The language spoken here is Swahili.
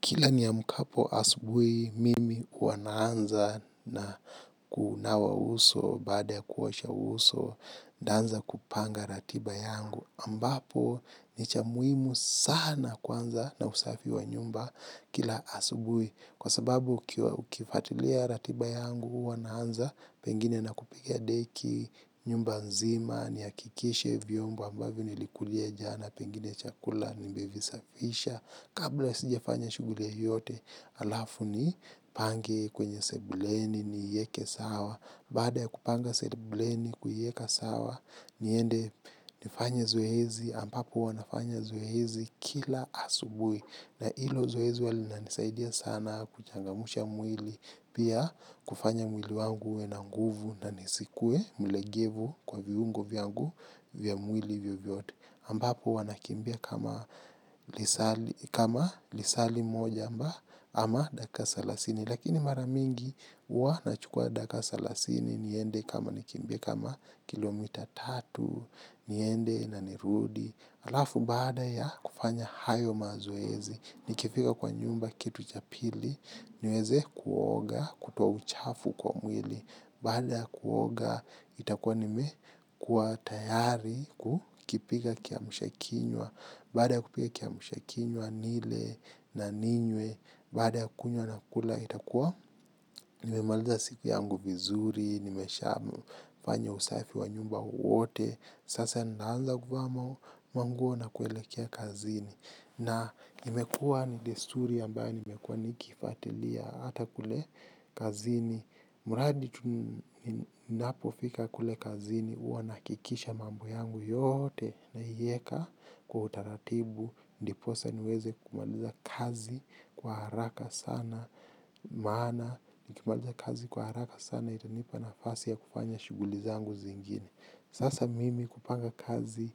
Kila niamkapo asubui, mimi huwa naanza na kuunawa uso, baada ya kuosha uso, danza kupanga ratiba yangu. Ambapo, ni cha muimu sana kwanza na usafi wa nyumba kila asubui. Kwa sababu, ukifatilia ratiba yangu, huwa naanza, pengine na kupiga deki, nyumba nzima, niakikishe viombo ambavyo nilikulia jana, pengine chakula, nimevisafisha. Kabla sija fanya shuguli yeyote, alafu nipange kwenye sebuleni niieke sawa. Baada ya kupanga sebuleni kuieka sawa, niende nifanye zoezi, ampapo huwa nafanya zoezi kila asubui. Na ilo zoezi huwa lina nisaidia sana kuchangamusha mwili, pia kufanya mwili wangu uwe na nguvu na nisikue mlegevu kwa viungo vyangu vya mwili vyovyote. Ambapo huwa nakimbia kama lisaa limoja amba ama daka salasini lakini maramingi huwa nachukua daka salasini niende kama nikimbia kama kilomita tatu niende na nirudi alafu baaada ya kufanya hayo mazoezi nikifika kwa nyumba kitu cha pili nieze kuoga kutoa uchafu kwa mwili baada ya kuoga itakua nime kuwa tayari kukipika kiamshakinywa baada ya kupika kiamshakinywa nile na ninywe baada ya kunywa na kula itakua nime maliza siku yangu vizuri nimesha fanya usafi wa nyumba uote sasa ndanza guvaa manguo na kuelekea kazini na imekua ni desturi ambayo nimekua nikifatilia hata kule kazini. Muradi tu ninapo fika kule kazini uwa nakikisha mambo yangu yote naieka kwa utaratibu. Ndiposa niweze kumaliza kazi kwa haraka sana. Maana nikimaliza kazi kwa haraka sana itanipa nafasi ya kufanya shuguli zangu zingine. Sasa mimi kupanga kazi